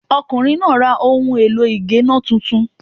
Ọkùnrin náà ra ohun èlò ì géná titun